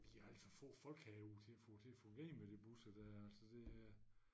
Vi har alt for få folk herude til at få til at få gavn med de busser dér altså det øh